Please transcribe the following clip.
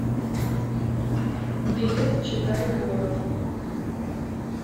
билет читай город